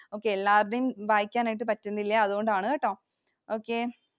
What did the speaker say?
Okay എല്ലാരുടെയും വായിക്കാനായിട്ടു പറ്റുന്നില്ല. അതുകൊണ്ടാണുകേട്ടോ Okay.